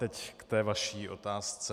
Teď k té vaší otázce.